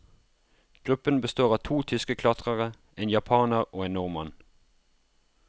Gruppen består av to tyske klatrere, en japaner og en nordmann.